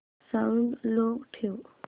sound low ठेव